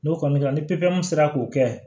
N'o kɔni kɛra ni sera k'o kɛ